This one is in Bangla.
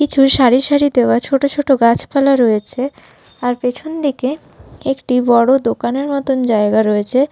কিছু সারি সারি দেওয়া ছোট ছোট গাছপালা রয়েছে আর পেছন দিকে একটি বড় দোকানের মতন জায়গা রয়েছে।